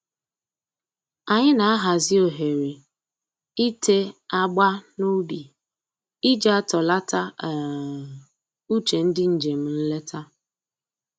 Anyị na-ahazi ohere ite agba n'ubi iji atọlata um uche ndị njem nleta